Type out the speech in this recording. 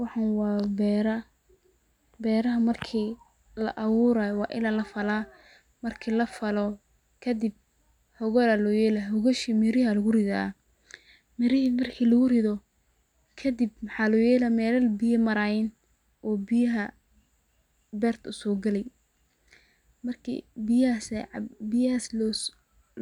Waxan waa beera, beeraha markii laa abuurayo waa ila lafalaa marki laafalo kadib hogal aya loo yela, hogashi mir8hi aa lugu ridaa, mirihi marki lugu rido kadib maxa loo yela mela biya marayiin oo biyaha beerta uso geli, marki biyahass